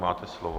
Máte slovo.